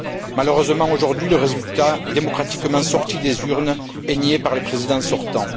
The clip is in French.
Malheureusement aujourd'hui, le résultat démocratiquement sorti des urnes est nié par le président sortant.